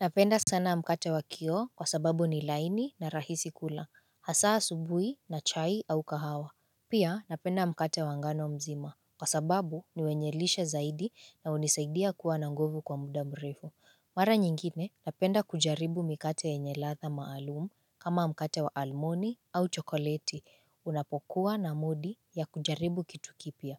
Napenda sana mkate wa kioo kwa sababu ni laini na rahisi kula, hasa asubuhi na chai au kahawa. Pia napenda mkate wa ngano mzima kwa sababu ni wenye lishe zaidi na hunisaidia kuwa na nguvu kwa muda mrefu. Mara nyingine napenda kujaribu mikate yenye ladha maalumu kama mkate wa almoni au chokoleti unapokuwa na mudi ya kujaribu kitu kipya.